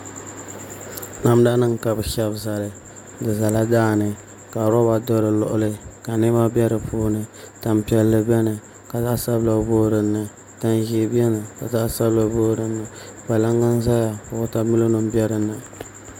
Namda nim ka ni shɛbi zali di ʒɛla daani ka roba do di luɣuli ka niɛma biɛ di puuni tani piɛlli biɛni ka zaɣ sabila booi dinni tani ʒiɛ biɛni ka zaɣ sabila booi dinni kpalaŋ n ʒɛya ka wotamilo nim bɛ dinni